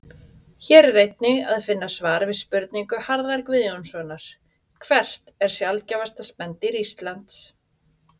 Hér er einnig að finna svar við spurningu Harðar Guðjónssonar Hvert er sjaldgæfasta spendýr Íslands?